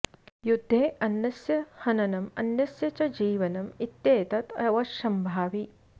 युद्धे अन्यस्य हननम् अन्यस्य च जीवनम् इत्येतत् अवश्यम्भावि